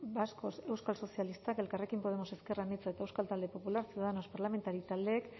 vascos euskal sozialistak elkarrekin podemos ezker anitza eta euskal talde popularra ciudadanos parlamentari taldeek